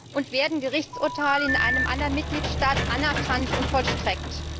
Und werden Gerichtsurteile in einem anderen Mitgliedstaat anerkannt und vollstreckt?